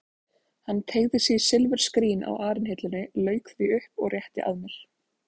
Hann teygði sig í silfurskrín á arinhillunni, lauk því upp og rétti að mér.